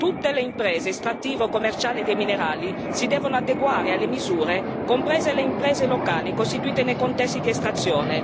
Tutte le imprese estrattivo commerciali dei minerali si devono adeguare alle misure, comprese le imprese locali costituite nei contesti di estrazione.